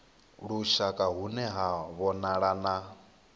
lushaka hune ha vhonala na